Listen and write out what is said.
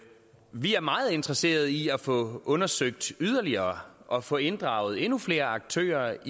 vi er meget interesserede i at få undersøgt yderligere og få inddraget endnu flere aktører